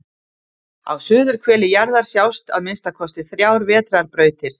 Á suðurhveli jarðar sjást að minnsta kosti þrjár vetrarbrautir.